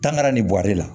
Tankari nin bɔli la